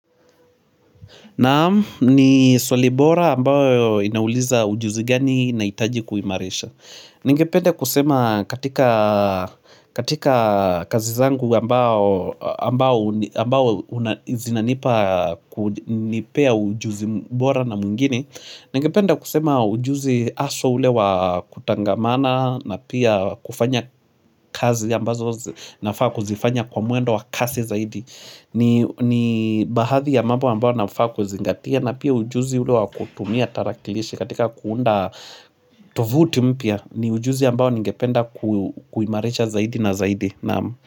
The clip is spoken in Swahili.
Naam ni swalibora ambayo inauliza ujuzi gani naitaji kuimarisha. Ningepende kusema katika kazi zangu ambayo zinanipa kunipea ujuzi mbora na muingine. Ningependa kusema ujuzi aswa ule wa kutangamana na pia kufanya kazi ambazo nafaa kuzifanya kwa muendo wa kasi zaidi. Ni bahathi ya mambo ambao nafaa kuzingatia na pia ujuzi ule wa kutumia tarakilishi katika kuunda tovuti mpia ni ujuzi ambao ningependa kuimarisha zaidi na zaidi naamu.